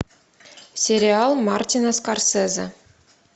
сериал мартина скорсезе